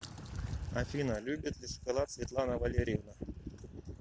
афина любит ли шоколад светлана валерьевна